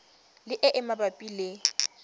le e e mabapi le